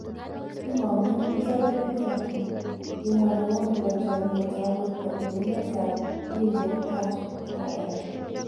Kimonguun isope en chokineet, kimwa neo nebo choniet ab borto en emet ab India Harsh Vardhan.